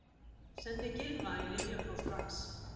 Sendið Gylfa í lyfjapróf strax!